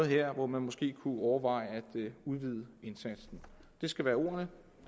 her hvor man måske kunne overveje at udvide indsatsen det skal være ordene